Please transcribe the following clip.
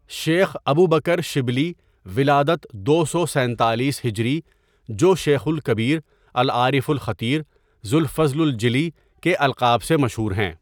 شیخ ابوبکر شبلی ولادت دو سو سینتالیس ہجری جوشيخ الكبير، العارف الخطیر، ذو الفضل الجلی کے القاب سے مشہور ہیں.